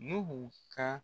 Nuhu ka